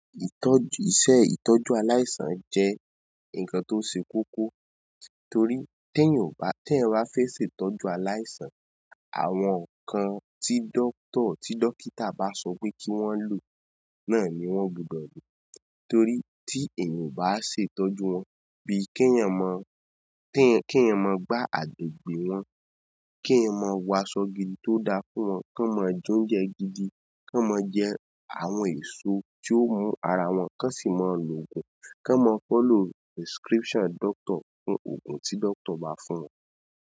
Ìtọ́jú-- iṣẹ́ ìtọ́jú aláìsàn jẹ́ ǹkan tó ṣe kókó torí tí èèyàn ò bá tẹ́yan ba fẹ́ ṣe ìtọ́jú aláìsàn, àwọn ǹkan tí dọ́kítà bá sọ pé kí wọ́n lò náà ni wọ́n gbudọ̀ lò torí tí èèyàn ò bá ṣe ìtọ́jú wọn bíi kí ẹeyan mọ, kí ẹeyan mọ gbá agbègbè wọn, kí ẹeyan mọ wọ aṣọ gidi tó da fún wọn, kí wọ́n máa jẹ oúnjẹ gidi, kí wọ́n máa jẹ àwọn èso tí ó mú ara wọn, ki won sì máa lo òògùn, kí wọ́n máa follow prescription doctor fún òògùn tí dọ́kítà bá fún wọn.